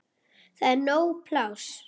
Það er nóg pláss.